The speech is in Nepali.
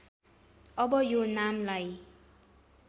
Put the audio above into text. अब यो नामलाई